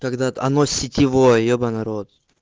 тогда оно сетевой ебанный рот